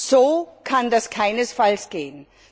So kann das keinesfalls gehen.